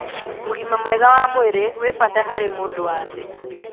ũgima mwega wa mwĩrĩ wĩbata harĩmũndũ wa thĩ.